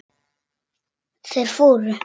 Þeir fóru.